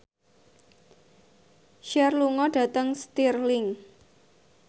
Cher lunga dhateng Stirling